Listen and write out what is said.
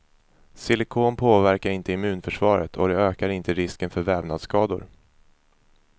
Silikon påverkar inte immunförsvaret och det ökar inte risken för vävnadsskador.